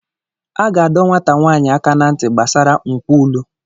A ga-adọ nwata nwaanyị aka ná ntị gbasara nkwulu.